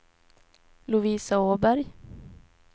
Lovisa Åberg